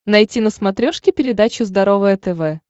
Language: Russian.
найти на смотрешке передачу здоровое тв